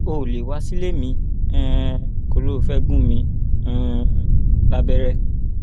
o ò lè wá sílé mi um kó o lọ ò fẹẹ gún mi um lábẹrẹ